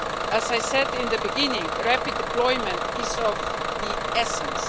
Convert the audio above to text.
As I said in the beginning, rapid deployment is of the essence.